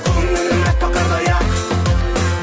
көңілім әппақ қардай ақ